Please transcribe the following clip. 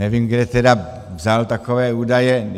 Nevím, kde tedy vzal takové údaje.